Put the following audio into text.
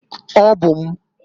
Ọ bụ m.